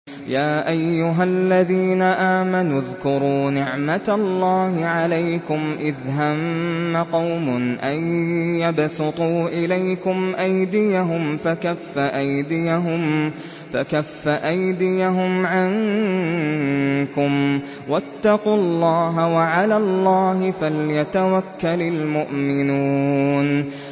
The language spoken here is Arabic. يَا أَيُّهَا الَّذِينَ آمَنُوا اذْكُرُوا نِعْمَتَ اللَّهِ عَلَيْكُمْ إِذْ هَمَّ قَوْمٌ أَن يَبْسُطُوا إِلَيْكُمْ أَيْدِيَهُمْ فَكَفَّ أَيْدِيَهُمْ عَنكُمْ ۖ وَاتَّقُوا اللَّهَ ۚ وَعَلَى اللَّهِ فَلْيَتَوَكَّلِ الْمُؤْمِنُونَ